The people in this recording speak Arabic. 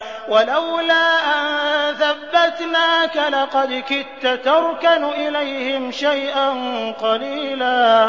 وَلَوْلَا أَن ثَبَّتْنَاكَ لَقَدْ كِدتَّ تَرْكَنُ إِلَيْهِمْ شَيْئًا قَلِيلًا